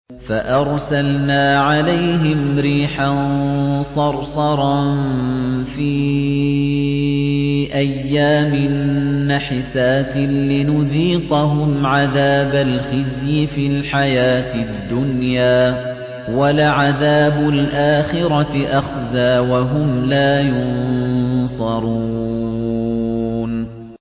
فَأَرْسَلْنَا عَلَيْهِمْ رِيحًا صَرْصَرًا فِي أَيَّامٍ نَّحِسَاتٍ لِّنُذِيقَهُمْ عَذَابَ الْخِزْيِ فِي الْحَيَاةِ الدُّنْيَا ۖ وَلَعَذَابُ الْآخِرَةِ أَخْزَىٰ ۖ وَهُمْ لَا يُنصَرُونَ